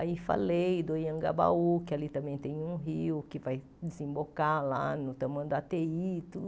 Aí falei do Iangabaú, que ali também tem um rio que vai desembocar lá no Tamanduateí.